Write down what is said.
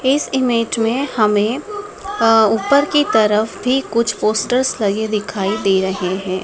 इस इमेज में हमें अ ऊपर की तरफ भी कुछ पोस्टर्स लगे दिखाई दे रहे हैं।